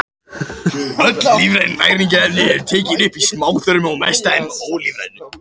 Öll lífræn næringarefni eru tekin upp í smáþörmunum og mest af þeim ólífrænu.